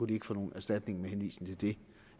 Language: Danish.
de ikke få nogen erstatning med henvisning til det